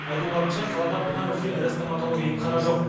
айтуларынша қалада бұдан өзге ірі стоматология емхана жоқ